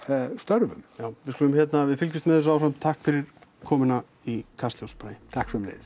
störfum já við skulum hérna við fylgjumst með þessu áfram takk fyrir komuna í Kastljós Bragi takk sömuleiðis